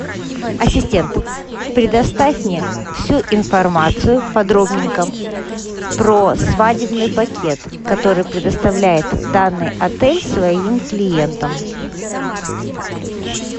ассистент предоставь мне всю информацию подробненько про свадебный пакет который предоставляет данный отель своим клиентам